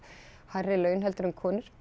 hærri laun heldur en konur